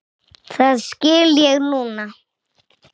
Það skil ég núna.